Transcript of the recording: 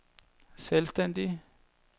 selvstændige